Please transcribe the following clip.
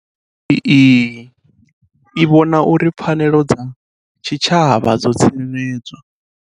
CGE i vhona uri pfanelo dza tshitshavha dzo tsireled zwa.